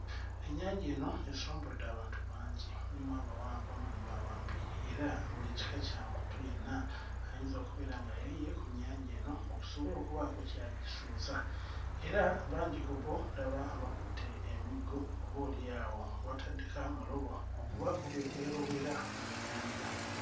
Ennyanja eno esombodde abantu bangi mulimu abawanvu mulimu abampi era buli kika kya muntu yenna ayinza okubeera nga yeeyiye ku nnyanja eno okusobola okubaako ky'agisuuza era bangi ku bo ddaba bakutte emiggo oboolyawo bataddeko amalobo okubaako bye beerobera mu nnyanja.